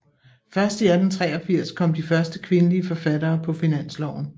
Først i 1883 kom de første kvindelige forfattere på finansloven